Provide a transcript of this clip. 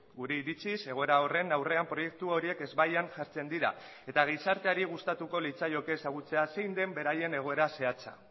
gure iritziz egoera horren aurrean proiektu horiek ezbaian jartzen dira eta gizarteari gustatuko litzaioke ezagutzea zein den beraien egoera zehatza